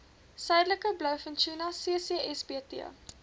suidelike blouvintuna ccsbt